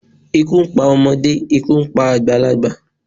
Ikú ń pa ọmọdé, ikú ń pa àgbàlagbà.